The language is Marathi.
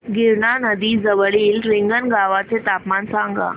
गिरणा नदी जवळील रिंगणगावाचे तापमान सांगा